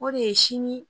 O de ye sini